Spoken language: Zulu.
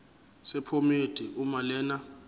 sephomedi uma lena